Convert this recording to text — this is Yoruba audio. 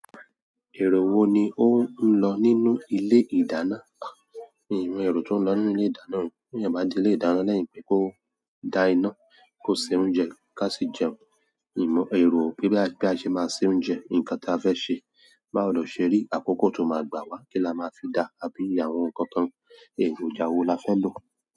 Èrò wo ni ó ń lọ nínú ilé ìdáná? Mi o ro tó ń lọ ni ilé ìdáná, bí ẹ bá di ilé ìdáná lẹ́yìn pé kó da iná, kó se oúnjẹ ká sì jẹun, mìmọ èrò pé bí a ṣe máa se oúnjẹ, nǹkan ta fẹ́ ṣe, bá lo ṣe ri àkókò tó máa gbà wá kí la máa fi dá àbí àwọn nǹkan kan, èrò ìjà wo la fẹ́ lò?